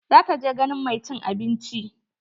Za ta je ganin mai cin abinci.